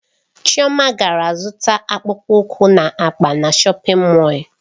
Chioma gara zụta akpụkpọ ụkwụ na akpa na shọpin Mọll.